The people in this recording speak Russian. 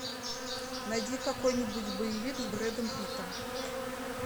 найди какой нибудь боевик с бредом питом